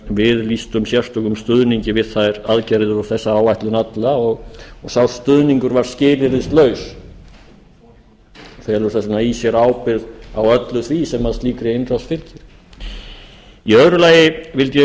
við lýstum sérstökum stuðningi við þær aðgerðir og þessa áætlun alla og sá stuðningur var skilyrðislaus hann felur þess vegna í sér ábyrgð á öllu því sem slíkri innrás fylgir í öðru lagi vildi ég